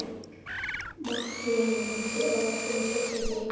Mattíana, manstu hvað verslunin hét sem við fórum í á þriðjudaginn?